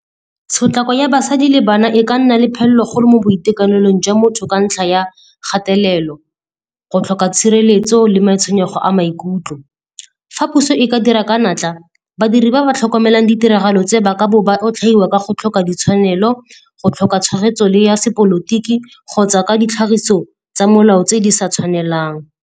Tshotlego ya basadi le bana e ka nna le phelelo kgolo mo boitekanelong jwa motho ka ntlha ya kgatelelo, go tlhoka tshireletso le matshwenyego a maikutlo. Fa puso e ka dira ka a natla, badiri ba ba tlhokomelang ditiragalo tse ba ka bo ba otlhaiwa ka go tlhoka ditshwanelo, go tlhoka tshegetso le ya sepolotiki kgotsa ka ditlhagiso tsa molao tse di sa tshwanelang.